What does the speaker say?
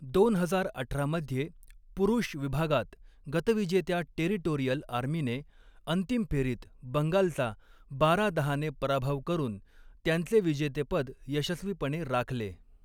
दोन हजार अठरा मध्ये, पुरुष विभागात, गतविजेत्या टेरिटोरियल आर्मीने अंतिम फेरीत बंगालचा बारा दहाने पराभव करून त्यांचे विजेतेपद यशस्वीपणे राखले.